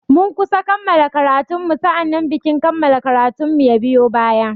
Mun kusa kammala karatun mu sa'annan bikin kammala karatun mu ya biyo baya.